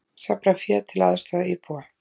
Safna fé til að aðstoða íbúa